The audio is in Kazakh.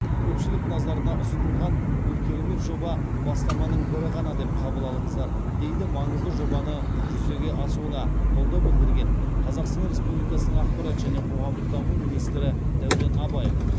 көпшілік назарына ұсынылған бұл керемет жоба бастаманың бірі ғана деп қабыл алыңыздар дейді маңызды жобаны жүзеге асуына қолдау білдірген қазақстан республикасының ақпарат және қоғамдық даму министрі дәурен абаев